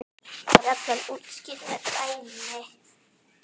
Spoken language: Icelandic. er reglan útskýrð með dæmi